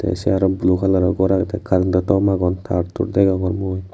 tey sei aro blue kalaror gor agey tey carentto tom agon tar tur degongor mui.